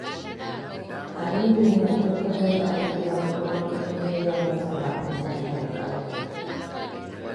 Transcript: Aminu yana tabbatar da an biya kuɗin makarantar yaransa kafin wata ya kare.